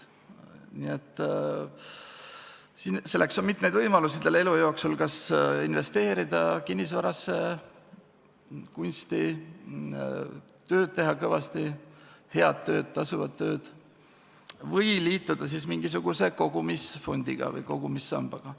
Inimesel on elu jooksul mitmeid võimalusi: kas investeerida kinnisvarasse, kunsti, teha kõvasti tööd – head tööd, tasuvat tööd –, või liituda mingisuguse kogumisfondiga või kogumissambaga.